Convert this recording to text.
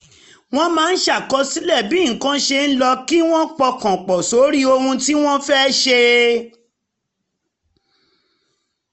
wọ́n máa ń ṣàkọsílẹ̀ bí nǹkan ṣe ń lọ kí wọ́n pọkàn pọ̀ sórí ohun tí wọ́n fẹ́ ṣe